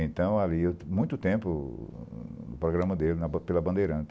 Então, ali, há muito tempo, o o programa dele pela bandeirante.